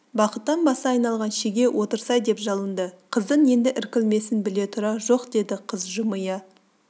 бақыттан басы айналған шеге отырсай деп жалынды қыздың енді іркілмесін біле тұра жоқ деді қыз жымия